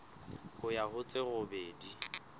ho ya ho tse robedi